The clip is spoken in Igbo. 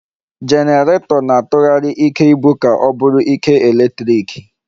Jenerato na-atụghari ike ibu ka o bụrụ ike eletriki